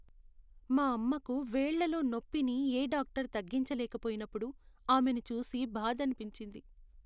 మా అమ్మకు వేళ్ళలో నొప్పిని ఏ డాక్టర్ తగ్గించలేకపోయినప్పుడు ఆమెను చూసి బాధనిపించింది.